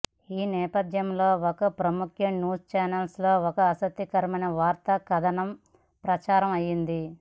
ఈ నేపథ్యంలో ఒక ప్రముఖ న్యూస్ ఛానెల్లో ఒక ఆసక్తికర వార్త కథనం ప్రసారం అయ్యింది